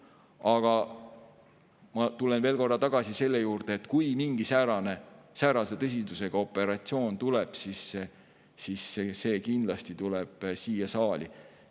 Aga ma tulen veel kord tagasi selle juurde, et kui mingi säärase tõsidusega operatsioon ette tuleb, siis see kindlasti tuleb siia saali.